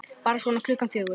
Bara svona klukkan fjögur.